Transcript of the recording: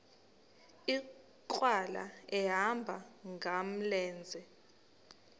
nkqwala ehamba ngamlenze